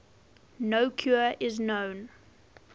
no cure is known